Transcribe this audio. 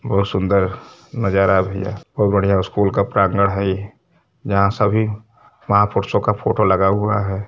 बहुत सुंदर नजारा है भईया बहुत सुंदर स्कूल का प्रांगण है यहाँ सभी महा पुरुषों का फोटो लगा हुआ है।